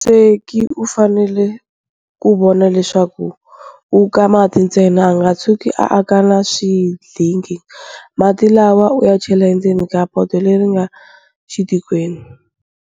Musweki u fanele ku vona leswaku u ka mati ntsena, a nga tshuki a ka na swindlingi. Mati lawa u ya chela endzeni ka poto leri nga xitikweni.